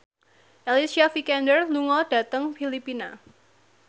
Alicia Vikander lunga dhateng Filipina